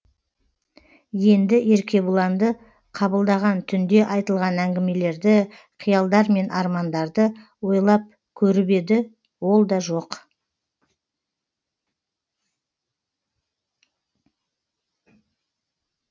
енді еркебұланды қабылдаған түнде айтылған әңгімелерді қиялдар мен армандарды ойлап көріп еді ол да жоқ